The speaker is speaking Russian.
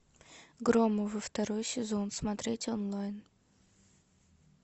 громовы второй сезон смотреть онлайн